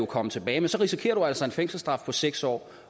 komme tilbage men så risikerer du altså en fængselsstraf på seks år